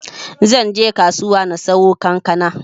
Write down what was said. Zanbje kasuwa na siyo kankana.